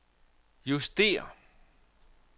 justér